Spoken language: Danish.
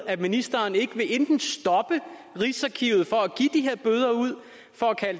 at ministeren ikke vil enten stoppe rigsarkivet fra at give